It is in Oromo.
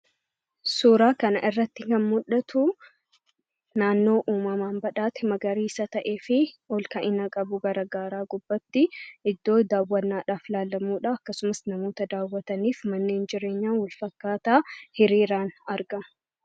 Suuraa kana irratti kan mul'atuu, naannoo uummamaan badhaate magariisa ta'eefi iddoo olka'ina qabu gara gaaraa gubbaatti iddoo daawwannaadhaaf ilaallamudha. Akkasumas namoota daawwataniif mannen jireenyaa wal fakkaataa hiriiraan argama.